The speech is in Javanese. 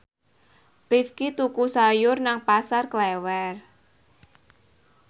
Rifqi tuku sayur nang Pasar Klewer